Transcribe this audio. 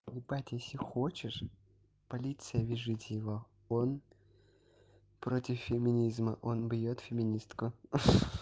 покупать если хочешь полиция выжить его он против феминизма он бьёт феминистку